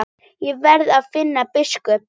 Ég verð að finna biskup!